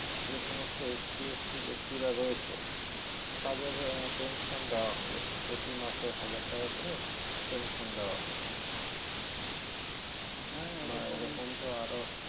যে সমস্ত STST ব্যক্তিরা রয়েছে তাদেরও আহ পেনশন দেওয়া হবে প্রতি মসে হাজার টাকা করে পেনশন দেওয়া হবে হ্যা বা এরকম তো আরও